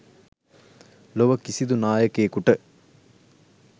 ලොව කිසිදු නායකයෙකුට,